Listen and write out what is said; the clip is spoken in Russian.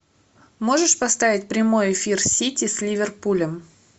можешь поставить прямой эфир сити с ливерпулем